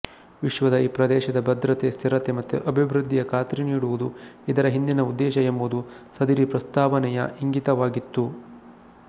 ವಿಶ್ವದ ಈ ಪ್ರದೇಶದ ಭದ್ರತೆ ಸ್ಥಿರತೆ ಮತ್ತು ಅಭಿವೃದ್ಧಿಯ ಖಾತ್ರಿನೀಡುವುದು ಇದರ ಹಿಂದಿನ ಉದ್ದೇಶ ಎಂಬುದು ಸದರಿ ಪ್ರಸ್ತಾವನೆಯ ಇಂಗಿತವಾಗಿತ್ತು